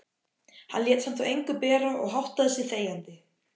Hann lét samt á engu bera og háttaði sig þegjandi.